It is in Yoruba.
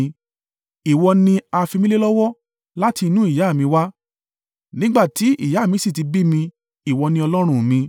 Ìwọ ni a fi mí lé lọ́wọ́ láti inú ìyá mi wá, nígbà tí ìyá mí sì ti bí mi, ìwọ ni Ọlọ́run mi.